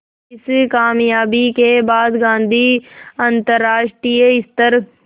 इस क़ामयाबी के बाद गांधी अंतरराष्ट्रीय स्तर